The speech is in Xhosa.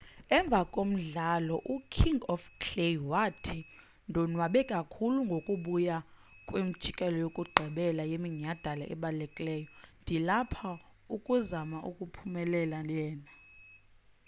emva komdlalo uking of clay wathi ndonwabe kakhulu ngokubuya kwimjikelo yokugqibela yeminyadala ebalulekileyo ndilapha ukuzama ukuyiphumelela lena